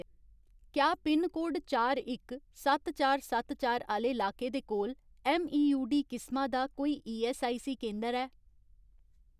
क्या पिनकोड चार इक, सत्त चार, सत्त चार आह्‌ले लाके दे कोल ऐम्मईयूडी किसमा दा कोई ईऐस्सआईसी केंदर ऐ ?